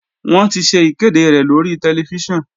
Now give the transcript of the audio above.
Wọ́n ti ṣe ìkéde rẹ̀ lórí tẹlifíṣàn